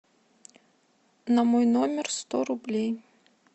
на мой номер сто рублей